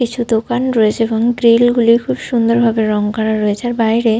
কিছু দোকান রয়েছে এবং গ্রিল গুলি খুব সুন্দর ভাবে রঙ করা রয়েছে। আর বাইরে --